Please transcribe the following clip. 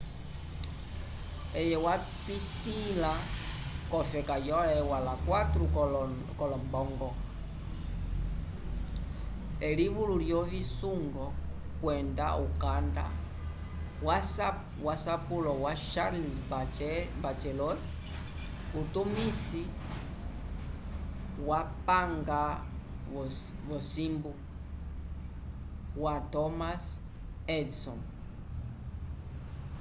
eye wapitĩla k’ofeka yo eua la 4 k’olombongo elivulu lyovisungo kwenda ukanda wesapulo wa charles batchelor utumisi wupange wosimbu wa thomas edison